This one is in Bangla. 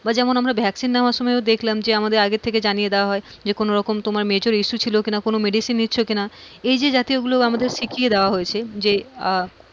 বা যেমন আমরা vaccin নেওয়ার সময় দেখলাম যে আমাদের আগে থেকে জানিয়ে দেওয়া হয় যে কোনোরকম major issue ছিল কিনা কোনো medicine নিচ্ছো কিনা এই যে জাতীয়গুলো আমাদের শিখিয়ে দেওয়া হয়েছে আহ